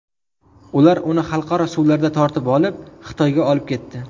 Ular uni xalqaro suvlarda tortib olib, Xitoyga olib ketdi.